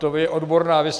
To je odborná věc.